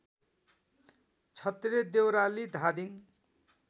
Chhatre Deurali Dhading